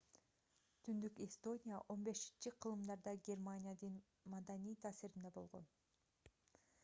түндүк эстония 15-кылымдарда германиянын маданий таасиринде болгон